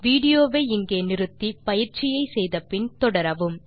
video வை இங்கே நிறுத்தி பயிற்சியை செய்து முடித்து பின் தொடரவும்